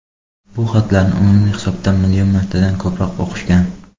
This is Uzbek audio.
Bu xatlarni umumiy hisobda million martadan ko‘proq o‘qishgan.